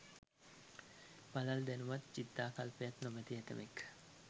පළල් දැනුමත්, චිත්තාකල්පයක් නොමැති ඇතැමෙක්